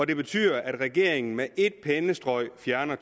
det betyder at regeringen med et pennestrøg fjerner